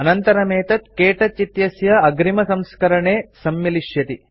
अनन्तरमेतत् K touch इत्यस्य अग्रिमसंस्करणे version सम्मिलिष्यति